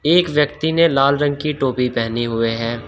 एक व्यक्ति ने लाल रंग की टोपी पेहनी हुए है।